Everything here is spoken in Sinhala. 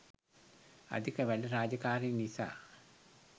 අධික වැඩ රාජකාරි නිසා